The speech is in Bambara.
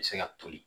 Se ka toli